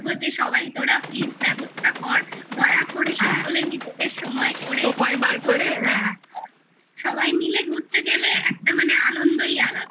যে সবাই তোরা Please ব্যবস্থা কর করে সকলে নিজেদের সময় করে সময় বার করে সকলে নিজেদের সময় করে দয়াকরে সময় বার করে সবাই মিলে ঘুরতে গেলে একটা মানে আনন্দই আলাদা